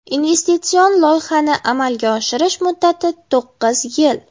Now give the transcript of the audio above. Investitsion loyihani amalga oshirish muddati to‘qqiz yil.